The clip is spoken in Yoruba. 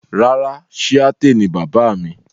Rárà, Shiaṭṭẹ ni baba mi.